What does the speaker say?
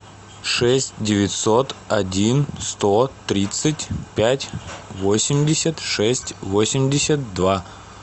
шесть девятьсот один сто тридцать пять восемьдесят шесть восемьдесят два